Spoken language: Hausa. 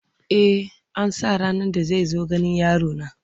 E, an sa ranar da zai zo ganin yarona.